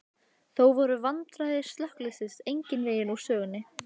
Þó voru vandræði slökkviliðsins engan veginn úr sögunni.